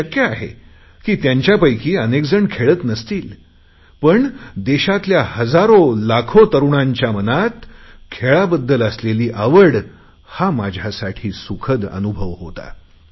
हे शक्य आहे की त्यांच्यापैकी अनेकजण खेळत नसतील पण देशातल्या हजारो लाखो तरुणांच्या मनात खेळाबद्दल असलेली आवड हा माझ्यासाठी सुखद अनुभव होता